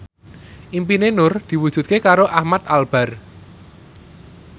impine Nur diwujudke karo Ahmad Albar